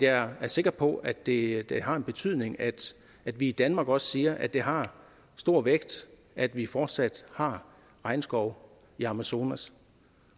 er sikker på at det at det har en betydning at vi i danmark også siger at det har stor vægt at vi fortsat har regnskov i amazonas